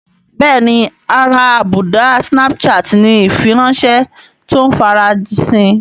Bẹ́ẹ̀ni ara àbùdá snapchat ni ìfiránṣẹ́ tó ń farasin